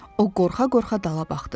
O qorxa-qorxa dala baxdı.